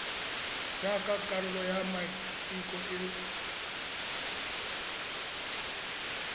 jaaka karolo ya maiteko a